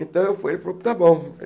Então eu fui e ele falou tá bom.